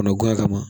Kɔnɔ guwan ka na